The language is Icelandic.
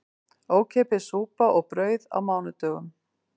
Ókeypis súpa og brauð á mánudögum